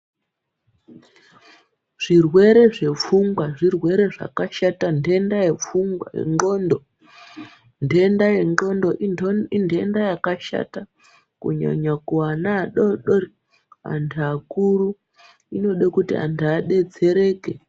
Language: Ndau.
Zvirwere zvepfungwa zvirwere zvakashata Ndenda yegonxo indenda yakashata kunyanya kunana adodori antu akuru inoda kuti antu adetsereke.